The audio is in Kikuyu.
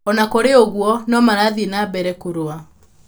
O na kũrĩ ũguo, no marathiĩ na mbere kũrũa.